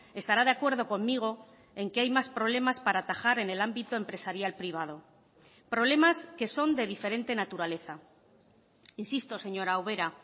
estará de acuerdo conmigo en que hay más problemas para atajar en el ámbito empresarial privado problemas que son de diferente naturaleza insisto señora ubera